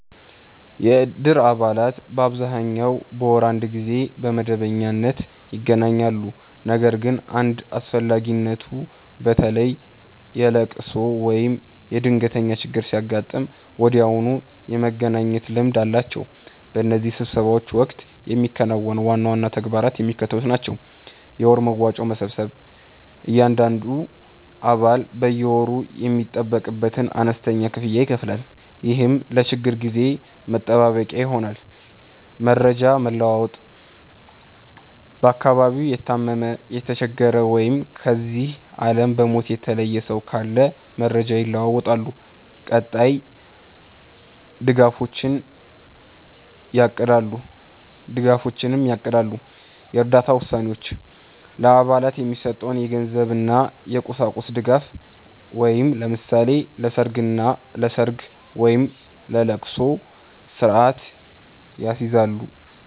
የእድር አባላት በአብዛኛው በወር አንድ ጊዜ በመደበኛነት ይገናኛሉ። ነገር ግን እንደ አስፈላጊነቱ፣ በተለይ የልቅሶ ወይም የድንገተኛ ችግር ሲያጋጥም ወዲያውኑ የመገናኘት ልምድ አላቸው። በእነዚህ ስብሰባዎች ወቅት የሚከናወኑ ዋና ዋና ተግባራት የሚከተሉት ናቸው፦ የወር መዋጮ መሰብሰብ፦ እያንዳንዱ አባል በየወሩ የሚጠበቅበትን አነስተኛ ክፍያ ይከፍላል፤ ይህም ለችግር ጊዜ መጠባበቂያ ይሆናል። መረጃ መለዋወጥ፦ በአካባቢው የታመመ፣ የተቸገረ ወይም ከዚህ ዓለም በሞት የተለየ ሰው ካለ መረጃ ይለዋወጣሉ፤ ቀጣይ ድጋፎችንም ያቅዳሉ። የእርዳታ ውሳኔዎች፦ ለአባላት የሚሰጠውን የገንዘብና የቁሳቁስ ድጋፍ (ለምሳሌ ለሰርግ ወይም ለልቅሶ) ስርአት ያስይዛሉ።